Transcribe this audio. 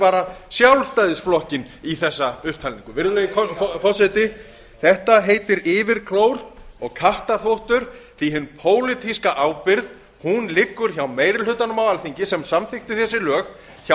bara sjálfstæðisflokkinn í þessa upptalningu virðulegi forseti þetta heitir yfirklór og kattarþvottur því hin pólitíska ábyrgð liggur hjá meiri hlutanum á alþingi sem samþykkti þessi lög hjá